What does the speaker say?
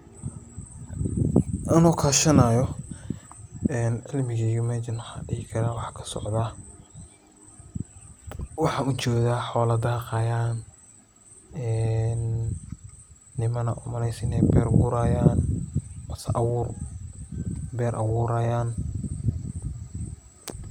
Ano kashanayo cilmigeyga waxan dhihi karaa mesha waxaa kasocdaa, waxan ujeeda xoola daaqayan een niman ad umaleyso inay beer gurayan kubaaso beer abuurayan